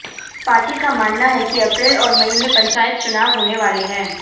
party का मानना है कि अप्रैल और मई में पंचायत चुनाव होने वाले हैं